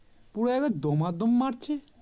পুরো একবারে দমাদম মারছে